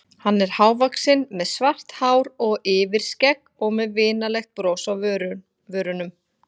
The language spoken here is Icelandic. Hann er hávaxinn með svart hár og yfirskegg og með vinalegt bros á vörunum.